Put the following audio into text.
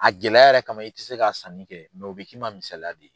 A gɛlɛya yɛrɛ kama i tɛ se ka sanni kɛ o bɛ k'i ma misaliya de ye.